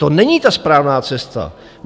To není ta správná cesta.